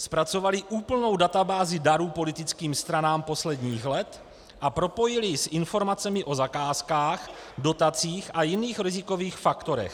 Zpracovali úplnou databázi darů politickým stranám posledních let a propojili ji s informacemi o zakázkách, dotacích a jiných rizikových faktorech.